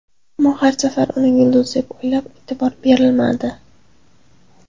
Ammo har safar uni yulduz deb o‘ylab, e’tibor berilmadi.